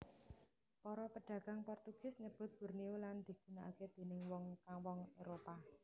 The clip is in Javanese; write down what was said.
Para pedagang Portugis nyebut Borneo lan digunaaké déning wong wong Éropah